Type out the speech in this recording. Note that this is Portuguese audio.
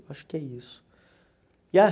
Eu acho que é isso. E ah